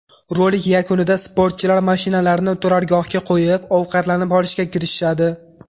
Rolik yakunida sportchilar mashinalarini turargohga qo‘yib, ovqatlanib olishga kirishadi.